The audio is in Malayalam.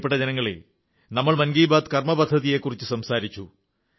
പ്രിയപ്പെട്ട ജനങ്ങളേ നമ്മൾ മൻ കീ ബാത്ത്് കർമ്മപദ്ധതിയെക്കുറിച്ചു സംസാരിച്ചു